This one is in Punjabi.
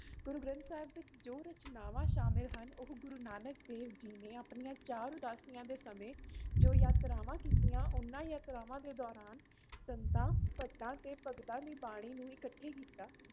ਗੁਰੂ ਗ੍ਰੰਥ ਸਾਹਿਬ ਵਿੱਚ ਜੋ ਰਚਨਾਵਾਂ ਸ਼ਾਮਿਲ ਹਨ ਉਹ ਗੁਰੂ ਨਾਨਕ ਦੇਵ ਜੀ ਨੇ ਆਪਣੀਆਂ ਚਾਰ ਉਦਾਸੀਆਂ ਦੇ ਸਮੇਂ ਜੋ ਯਾਤਰਾਵਾਂ ਕੀਤੀਆਂ ਉਹਨਾਂ ਯਾਤਰਾਵਾਂ ਦੇ ਦੌਰਾਨ ਸੰਤਾਂ, ਭੱਟਾ, ਅਤੇ ਭਗਤਾਂ ਦੀ ਬਾਣੀ ਨੂੰ ਇਕੱਠੇ ਕੀਤਾ